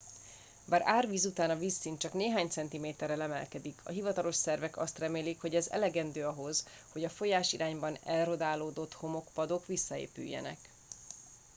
bár árvíz után a vízszint csak néhány centiméterrel emelkedik a hivatalos szervek azt remélik hogy ez elegendő ahhoz hogy a folyásirányban erodálódott homokpadok visszaépüljenek